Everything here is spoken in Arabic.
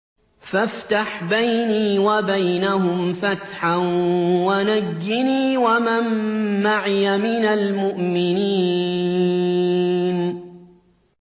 فَافْتَحْ بَيْنِي وَبَيْنَهُمْ فَتْحًا وَنَجِّنِي وَمَن مَّعِيَ مِنَ الْمُؤْمِنِينَ